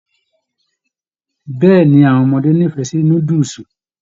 Bẹẹni, awọn ọmọdé n'ifẹ sí núdúsí.